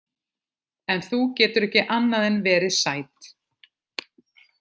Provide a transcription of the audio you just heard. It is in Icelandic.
En þú getur ekki annað en verið sæt.